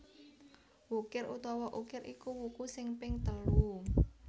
Wukir utawa Ukir iku wuku sing ping telu